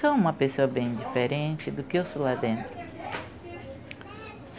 Sou uma pessoa bem diferente do que eu sou lá dentro.